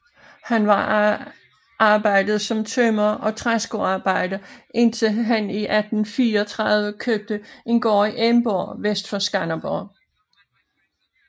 Han var arbejdede som tømrer og træskoarbejder indtil han i 1834 købte en gård i Emborg vest for Skanderborg